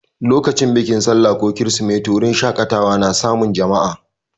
Lokacin bikin sallah ko kirsimeti, wurin shaƙatawa na samun jama'a.